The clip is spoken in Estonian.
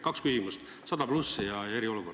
Kaks küsimust: 100+ üritused ja eriolukord.